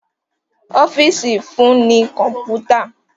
Ọ́fíìsì fún ní kọ̀mpútà